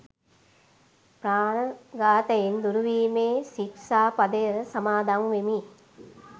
ප්‍රාණ ඝාතයෙන් දුරුවීමේ ශික්‍ෂා පදය සමාදන් වෙමි.